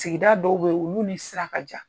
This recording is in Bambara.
Sigida dɔw beyi olu ni sira ka jan.